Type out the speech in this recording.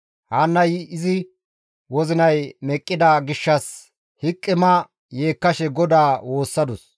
Haannay izi wozinay meqqida gishshas hiqima yeekkashe GODAA woossadus.